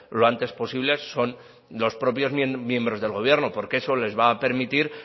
lo antes posible son los propios miembros del gobierno porque eso les va a permitir